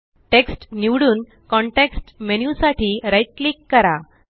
text निवडून context menu साठी right click करा